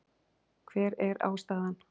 Hver er ástæðan